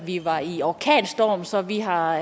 vi var i orkanstorm så vi har